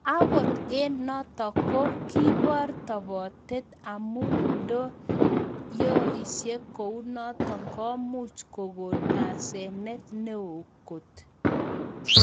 Angot eng notok ko kebor topoteet amuu ndoyooksei kounotok komuuch kogon asenet neo koot